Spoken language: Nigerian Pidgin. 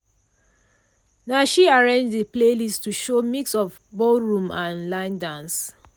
na she arrange de playlist to show mix of ballroom and line dance.